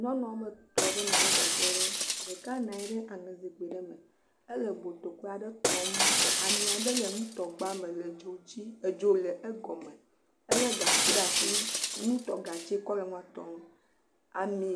Nyɔnu woame etɔ̃ aɖe nɔ anyi ɖe teƒe aɖe, ɖeka nɔ anyi ɖe aŋezikpui aɖe me, ele botokoe aɖe tom, ami aɖe le nutɔgba me le dzo dzi, edzo le egɔme, ele gatsi ɖe asi, nutɔgatsi wotsɔ le nua tɔm, ami